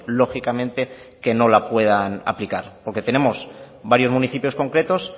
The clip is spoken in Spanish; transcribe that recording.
lógicamente que no la puedan aplicar porque tenemos varios municipios concretos